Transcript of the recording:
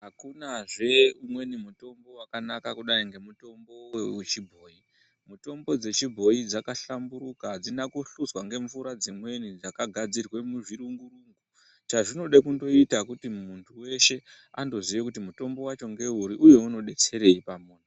Hakunazve umweni mutombo wakanaka semutombo wechibhoyi. M itombo dzechibhoi dzakahlamburuka hadzina kuhluzwa ngemvura dzimweni dzakagadzirwa muchirungu. Chazvinondoda kundoita kuti muntu weshe andoziye kuti mutombo wacho ngeuri uye unodetserei pamuntu.